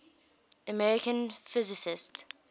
american physicists